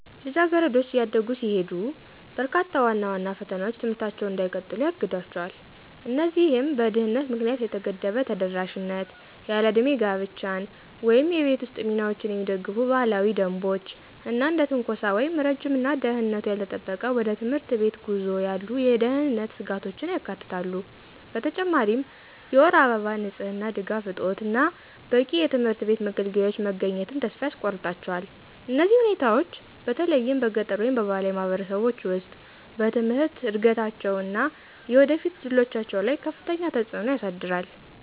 ልጃገረዶች እያደጉ ሲሄዱ፣ በርካታ ዋና ዋና ፈተናዎች ትምህርታቸውን እንዳይቀጥሉ ያግዷቸው። እነዚህም በድህነት ምክንያት የተገደበ ተደራሽነት፣ ያለዕድሜ ጋብቻን ወይም የቤት ውስጥ ሚናዎችን የሚደግፉ ባህላዊ ደንቦች፣ እና እንደ ትንኮሳ ወይም ረጅም እና ደህንነቱ ያልተጠበቀ ወደ ትምህርት ቤት ጉዞ ያሉ የደህንነት ስጋቶችን ያካትታሉ። በተጨማሪም የወር አበባ ንጽህና ድጋፍ እጦት እና በቂ የትምህርት ቤት መገልገያዎች መገኘትን ተስፋ ያስቆርጣቸዋል። እነዚህ ሁኔታዎች፣ በተለይም በገጠር ወይም በባህላዊ ማህበረሰቦች ውስጥ፣ በትምህርት እድገታቸው እና የወደፊት እድሎቻቸው ላይ ከፍተኛ ተጽዕኖ ያሳድራል።